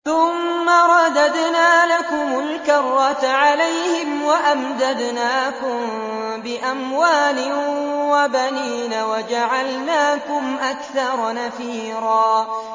ثُمَّ رَدَدْنَا لَكُمُ الْكَرَّةَ عَلَيْهِمْ وَأَمْدَدْنَاكُم بِأَمْوَالٍ وَبَنِينَ وَجَعَلْنَاكُمْ أَكْثَرَ نَفِيرًا